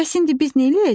Bəs indi biz neyləyəcəyik?